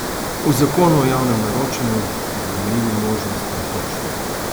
V zakonu o javnem naročanju bi omejili možnost pritožb.